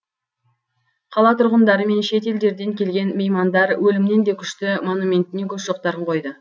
қала тұрғындары мен шет елдерден келген меймандар өлімнен де күшті монументіне гүл шоқтарын қойды